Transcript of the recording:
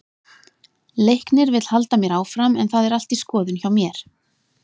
Leiknir vill halda mér áfram en það er allt í skoðun hjá mér.